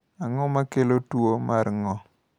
Ang’o ma kelo tuwo mar ng’ol?